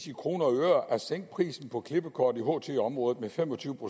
i kroner og øre at sænke prisen på klippekort i ht området med fem og tyve